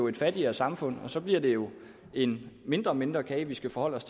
et fattigere samfund og så bliver det jo en mindre og mindre kage vi skal forholde os